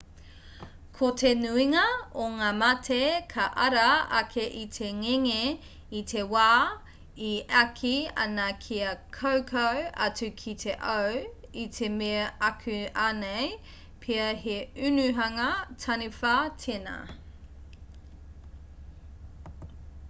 ko te nuinga o ngā mate ka ara ake i te ngenge i te wā e āki ana kia kaukau atu ki te au i te mea akuanei pea he unuhanga taniwha tēnā